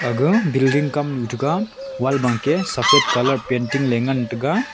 aga Belding kamnu tega wall bangke colour painting le ngan taiga.